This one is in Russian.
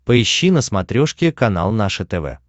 поищи на смотрешке канал наше тв